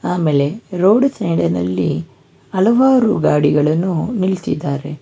ಆಮೇಲೆ road side ನಲ್ಲಿ ಹಲವಾರು ಗಾಡಿಗಳನ್ನು ನಿಲ್ಸಿದ್ದಾರೆ.